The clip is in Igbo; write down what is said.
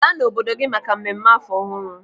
Laa n'obodo gị maka mmemme afọ ọhụrụ!